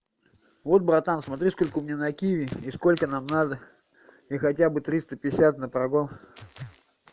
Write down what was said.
вот братан смотри сколько у меня на киви и сколько нам надо или хотя бы триста пятьдесят на прагон